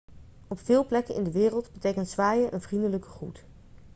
op veel plekken in de wereld betekent zwaaien een vriendelijke groet